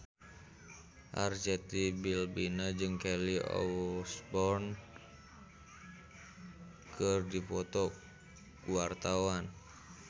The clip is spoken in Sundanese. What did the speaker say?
Arzetti Bilbina jeung Kelly Osbourne keur dipoto ku wartawan